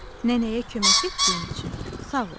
Nənəyə kömək etdiyin üçün sağ ol.